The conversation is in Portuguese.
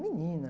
Menina!